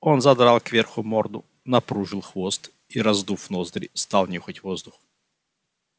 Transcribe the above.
он задрал кверху морду напружил хвост и раздув ноздри стал нюхать воздух